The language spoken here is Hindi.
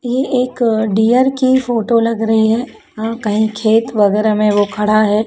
ये एक डियर की फोटो लग रही है अह कहीं खेत वगैरह में वो खड़ा है।